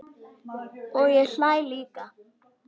Og ég hlæ líka.